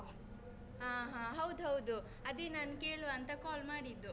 ಹಾ ಹಾ, ಹೌದು ಹೌದು. ಅದೇ ನಾನ್ ಕೇಳುವ ಅಂತ call ಮಾಡಿದ್ದು.